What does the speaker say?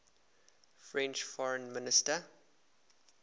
french foreign minister